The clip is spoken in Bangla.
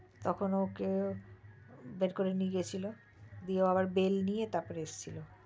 তখন ওকে বের করে নিয়ে গিয়েছিলো গিয়ে ও আবার bell নিয়ে এসছিল